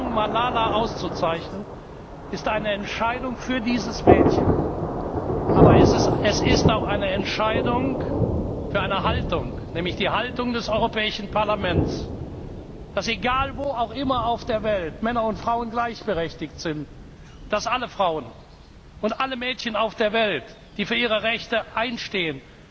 Die Entscheidung, Malala auszuzeichnen, ist eine Entscheidung für dieses Mädchen, aber es ist auch eine Entscheidung für eine Haltung, nämlich die Haltung des Europäischen Parlaments, dass, egal wo auch immer auf der Welt, Männer und Frauen gleichberechtigt sind und dass alle Frauen und alle Mädchen auf der Welt, die für ihre Rechte einstehen,